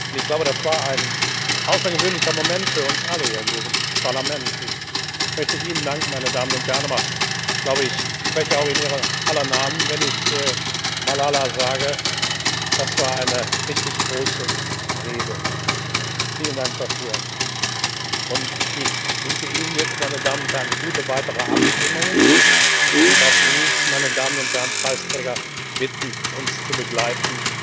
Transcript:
Ich glaube, das war ein außergewöhnlicher Moment für uns alle hier in diesem Parlament. Ich möchte Ihnen danken, meine Damen und Herren, aber ich glaube, ich spreche auch in Ihrer aller Namen, wenn ich Malala sage, das war eine richtig große Rede. Vielen Dank dafür! Ich wünsche Ihnen jetzt, meine Damen und Herren, gute weitere Abstimmungen und darf Sie, meine Damen und Herren Preisträger, bitten, uns zu begleiten.